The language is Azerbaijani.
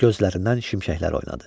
Gözlərindən şimşəklər oynadı.